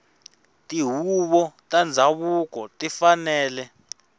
tihuvo ta ndhavuko ti fanele